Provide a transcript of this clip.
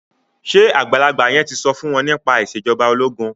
ṣe àgbàlagbà yen tí so fún wón nípa Ìṣèjọba ológun?